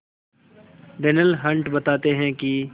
Darnell Hunt बताते हैं कि